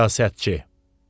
Siyasətçi.